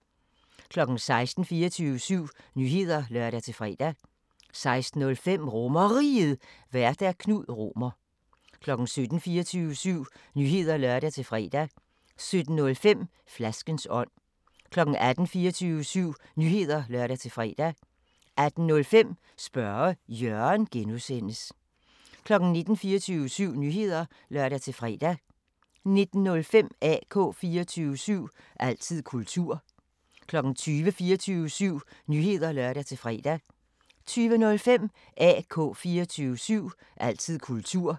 16:00: 24syv Nyheder (lør-fre) 16:05: RomerRiget, Vært: Knud Romer 17:00: 24syv Nyheder (lør-fre) 17:05: Flaskens ånd 18:00: 24syv Nyheder (lør-fre) 18:05: Spørge Jørgen (G) 19:00: 24syv Nyheder (lør-fre) 19:05: AK 24syv – altid kultur 20:00: 24syv Nyheder (lør-fre) 20:05: AK 24syv – altid kultur